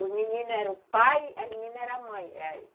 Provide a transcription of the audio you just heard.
Os meninos eram o pai, as meninas eram as mães.